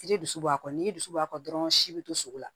Jiri dusu bɔ kɔ ni ji dusu b'a kan dɔrɔnw si bɛ to sogo la